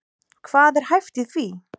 Hvað er hæft í því?